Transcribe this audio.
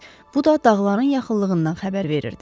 Bu da dağların yaxınlığından xəbər verirdi.